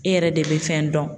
E yɛrɛ de bɛ fɛn dɔn.